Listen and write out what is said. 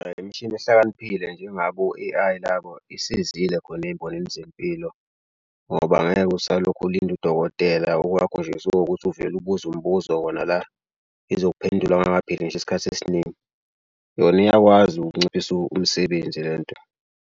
Imishini ehlakaniphile njengabo o-A_I labo isizile khona ey'mboneni zempilo ngoba ngeke usalokhe ulinda udokotela. Okwakho nje sekukuthi uvele ubuze umbuzo wona la izokuphendula kungakapheli ngisho isikhathi esiningi. Yona iyakwazi ukunciphisa umsebenzi le nto.